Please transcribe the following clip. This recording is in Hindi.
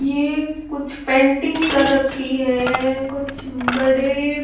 ये कुछ पेंटिंग कर रखी है। कुछ बड़े--